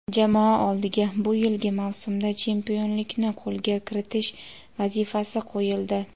jamoa oldiga bu yilgi mavsumda chempionlikni qo‘lga kiritish vazifasi qo‘yildi.